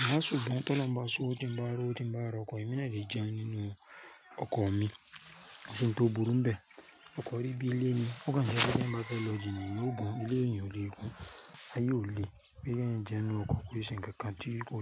Na ṣùgbọ́n ti olohuń bá ṣowo, ti ń bá ri owo ti ń bá rọ̀ ọkọ̀, èmi náà lè jẹun nínú ọkọ̀ mi. Ko si ń tó burú bẹ́ẹ̀. Ọkọ̀ rí bí ilé ni. Ó kan jẹ́ pe tí èèyàn bá fẹ́ lọ jina, èèyàn ogun Ilé èeyàn ò lè gun. Aye ò le pé kí ẹniyan jẹun nínú ọkọ̀ ko iṣẹ́ ńkán kan tí ko le.